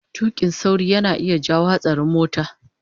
tuƙin sauri yana iya jawo hatsarin mota